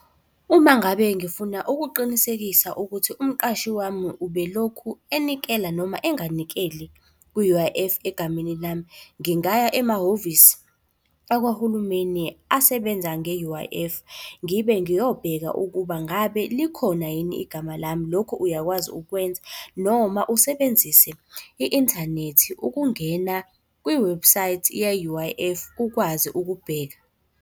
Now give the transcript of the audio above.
Uma ngabe ngifuna ukuqinisekisa ukuthi umqashi wami ubelokhu enikela noma enganikeli ku-U_I_F egameni lami, ngingaya emahhovisi akwahulumeni asebenza nge-U_I_F, ngibe ngiyobheka ukuba ngabe likhona yini igama lami? Lokhu uyakwazi ukwenza, noma usebenzise i-inthanethi ukungena kwi-website ye-U_I_F ukwazi ukubheka.